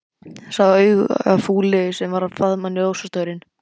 Sá augafulli sem var að faðma ljósastaurinn.